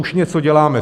Už něco děláme.